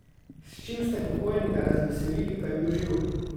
S čim ste pokojnika razveselili, ko je bil živ?